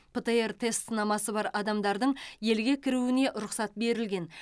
птр тест сынамасы бар адамдардың елге кіруіне рұқсат берілген